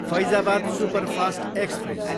Faizabad superfast express